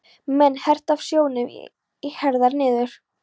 menn, herta af sjónum, í herðar niður.